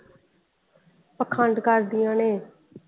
ਪਾਖੰਡ ਕਰਦੀਆ ਨੇ ।